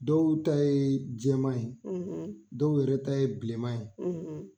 Dɔw ta ye jɛman ye; dɔw yɛrɛ ta ye bilenman ye;